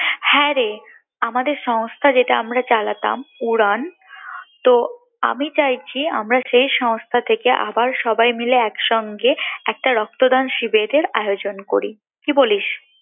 হ্যাঁ রে আমাদের সংস্থা যেটা আমরা চালাতাম উড়ান তো আমি চাইছি আমরা সেই সংস্থা থেকে আবার সবাই মিলে একসঙ্গে একটা রক্তদান শিবিরের আয়োজন করি কি বলিস